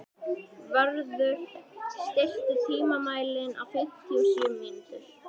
Vörður, stilltu tímamælinn á fimmtíu og sjö mínútur.